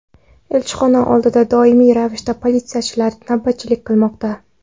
Elchixona oldida doimiy ravishda politsiyachilar navbatchilik qilmoqda.